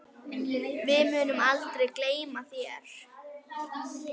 Við munum aldrei gleyma þér.